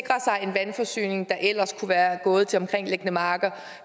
en vandforsyning der ellers kunne være gået til omkringliggende marker